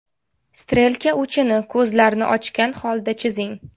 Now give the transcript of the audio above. Strelka uchini ko‘zlarni ochga holda chizing.